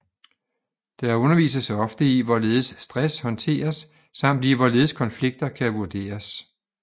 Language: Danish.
Der undervises ofte i hvorledes stress håndteres samt i hvorledes konflikter kan vurderes